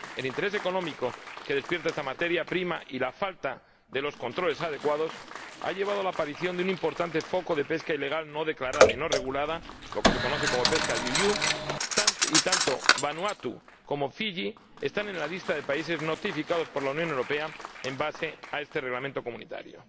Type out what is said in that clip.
El interés económico que despierta esta materia prima y la falta de los controles adecuados han llevado a la aparición de un importante foco de pesca ilegal no declarada y no regulada —lo que se conoce como pesca IUU en sus siglas en inglés—, y tanto Vanuatu como Fiyi están en la lista de países notificados por la Unión Europea con base en este Reglamento comunitario.